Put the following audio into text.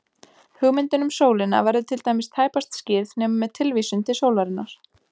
Hugmyndin um sólina verður til dæmis tæpast skýrð nema með tilvísun til sólarinnar.